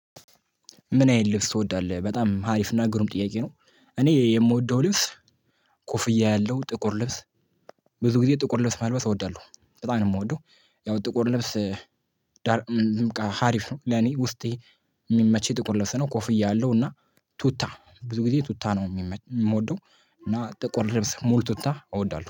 ምን አይነት ልብስ ትወዳለህ? በጣም ሀሪፍ እና ግሩም ጥያቄ ነው። እኔ የምወደው ልብስ። ኮፍያ ያለው ጥቁር ልብስ ብዙ ጊዜ ጥቁር ልብስ መልበስ እወዳለሁ በጣም ነው የምወደው። ያው ጥቁር ልብስ። ዳር በቃ ሀሪፍ ነው ለኔ ውስጤ የሚመች ጥቁር ልብስ ነው። ኮፍያ ያለው እና ቱታ ብዙ ጊዜ ቱታ ነው የምወደው። እና ጠቆር ልብስ ሙሉ ቱታ እወዳለሁ